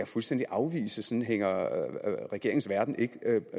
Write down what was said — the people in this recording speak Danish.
fuldstændig afvise sådan hænger regeringens verden ikke